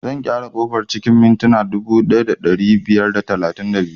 Zan gyara ƙofar cikin mintina dubu ɗaya da ɗari biyar da talatin da biyu